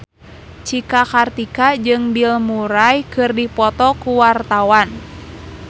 Cika Kartika jeung Bill Murray keur dipoto ku wartawan